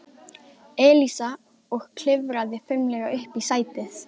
Elísa og klifraði fimlega upp í sætið.